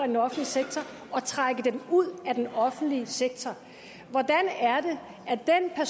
den offentlige sektor og trække dem ud af den offentlige sektor hvordan er